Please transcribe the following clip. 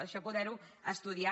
això poder ho estudiar